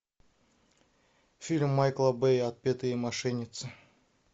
фильм майкла бэя отпетые мошенницы